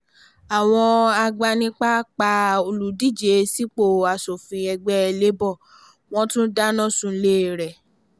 àwọn agbanipa pa olùdíje sípò asòfin ẹgbẹ́ labour wọn tún dáná sunlé e rẹ́